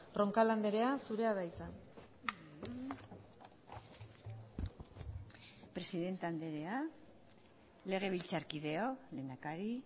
roncal andrea zurea da hitza presidente andrea legebiltzarkideok lehendakari